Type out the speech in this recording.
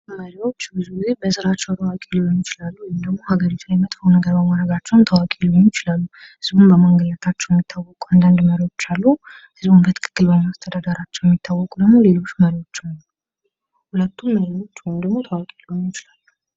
መሪወች በስራቸው እንዱሁም ሰው በማንገላታታቸው የሚታዎቁ ሊሆኑ ይችላሉ። ለምሳሌ ሰው በማንገላታታቸው የሚያዎቁ አሉ። እንዲሁም ህዝቡን በትክክል በማስተዳደር የሚታወቁ አሉ።